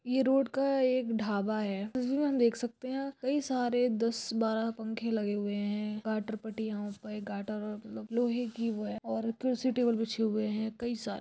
ये रोड का एक ढाबा है जिसमें हम देख सकते है कई सारे दस बारह पंखे लगे हुए है गाटर पट्टियाँ उप एक गाटर मतलब लोहे की वो है और कुर्सी टेबल बीछे हुए है कई सारे --